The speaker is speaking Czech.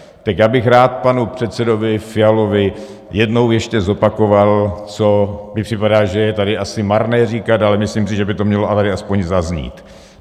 Tak já bych rád panu předsedovi Fialovi jednou ještě zopakoval, co mi připadá, že je tady asi marné říkat, ale myslím si, že by to mělo ale i aspoň zaznít.